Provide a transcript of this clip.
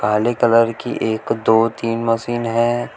काले कलर की एक दो तीन मशीन है।